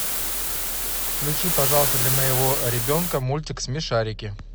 включи пожалуйста для моего ребенка мультик смешарики